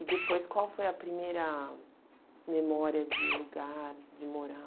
E depois, qual foi a primeira memória de lugar, de morar?